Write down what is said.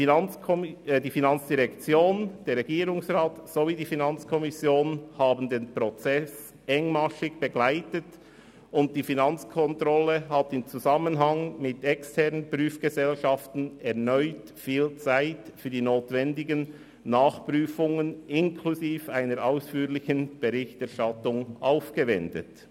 Die FIN, der Regierungsrat sowie die FiKo haben den Prozess engmaschig begleitet, und die Finanzkontrolle hat in Zusammenarbeit mit externen Prüfgesellschaften erneut viel Zeit für die notwendigen Nachprüfungen inklusive einer ausführlichen Berichterstattung aufgewendet.